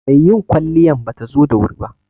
Mai yin kwaliyan batazo da wuri ba